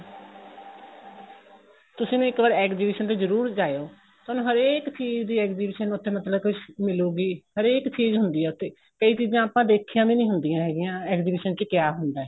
ਤੁਸੀਂ ਨਾ ਇੱਕ ਵਾਰ exhibition ਤੇ ਜਰੂਰ ਜਾਇਓ ਤੁਹਾਨੂੰ ਹਰੇਕ ਚੀਜ਼ ਦੀ exhibition ਉੱਥੇ ਮਤਲਬ ਕੀ ਮਿਲੂਗੀ ਹਰੇਕ ਚੀਜ਼ ਹੁੰਦੀ ਏ ਉੱਥੇ ਕਈ ਚੀਜ਼ਾਂ ਆਪਾਂ ਦੇਖੀਆਂ ਵੀ ਨਹੀਂ ਹੁੰਦੀਆਂ ਹੈਗੀਆਂ exhibition ਚ ਕਿਆ ਹੁੰਦਾ ਏ